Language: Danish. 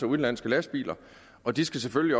udenlandske lastbiler og de skal selvfølgelig